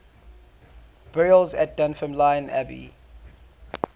burials at dunfermline abbey